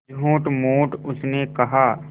झूठमूठ उसने कहा